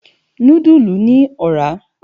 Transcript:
Núdùlú ni òrà